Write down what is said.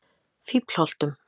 Fíflholtum